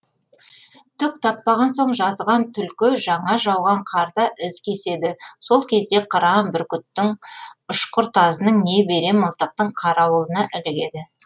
түк таппаған соң жазған түлкі жаңа жауған қарда із кеседі сол кезде қыран бүркіттің ұшқыр тазының не берен мылтықтың қарауылына ілігеді